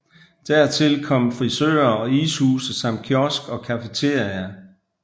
Dertil kom frisører og ishuse samt kiosk og cafeteria